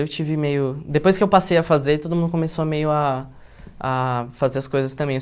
Eu tive meio... Depois que eu passei a fazer, todo mundo começou meio ah a fazer as coisas também.